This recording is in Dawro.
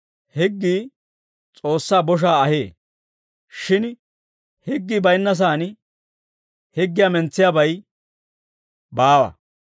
higgii S'oossaa boshaa ahee; shin higgii baynnasaan higgiyaa mentsiyaabay baawa.